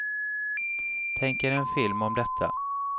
Tänk er en film om detta.